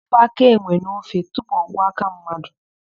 Wepụ áká enwe n'ofe tupu ọ ghọọ áká mmadụ.